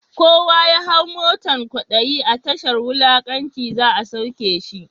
Kowa ya hau motan kwadayi, a tashar wulakanci za’a sauke shi.